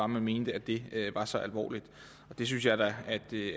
man mener at det er så alvorligt der synes jeg da at det